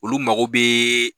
Olu mago bɛ